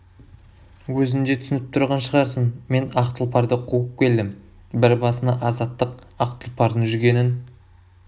өзің де түсініп тұрған шығарсың мен ақ тұлпарды қуып келдім бір басыңа азаттық ақ тұлпардың жүгенін